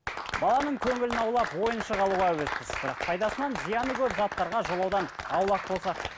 баланың көңілін аулап ойыншық алуға әуеспіз бірақ пайдасынан зияны көп заттарға жолаудан аулақ болсақ